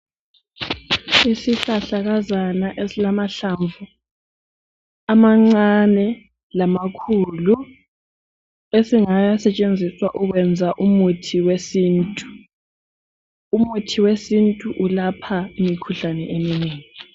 Isihlahlakazana esilamahlamvu amancane lamakhulu esingasetshenziswa ukwenza umuthi wesintu. Umuthi wesintu ulapha imikhuhlane eminengi.